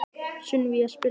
Sunníva, spilaðu lag.